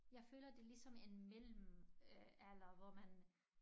Jeg føler det ligesom en mellemalder hvor man